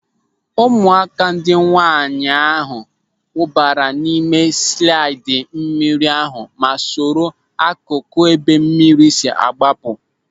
Ụmụaka ndị nwaanyị ahụ wụbara n'ime slaịdị mmiri ahụ ma soro akụkụ ebe mmiri si agbapụ.